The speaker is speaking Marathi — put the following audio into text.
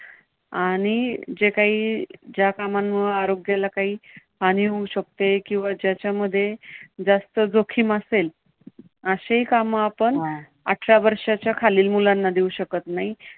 आणि जे काम ज्या कामामुळे आरोग्याला काही हानी होऊ शकते किंवा ज्याच्यामध्ये जास्त जोखीम असेल अशी काम आपण आठरा वर्षाच्या खालील मुलांना देऊ शकत नाही.